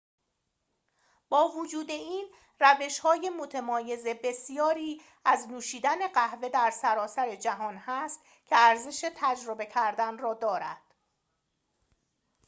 با وجود این روش‌های متمایز بسیاری از نوشیدن قهوه در سراسر جهان هست که ارزش تجربه کردن را دارد